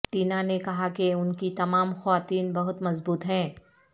Tina نے کہا کہ ان کی تمام خواتین بہت مضبوط ہیں